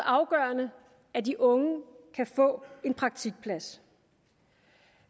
afgørende at de unge kan få en praktikplads